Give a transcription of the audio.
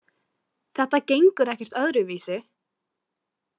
Þetta gengur ekkert öðruvísi.